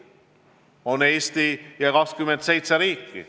On Eesti ja 27 muud riiki.